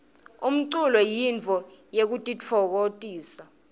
umculo yintfo yekutitfokotisa